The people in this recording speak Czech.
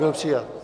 Byl přijat.